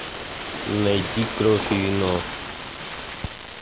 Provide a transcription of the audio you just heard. найти кровь и вино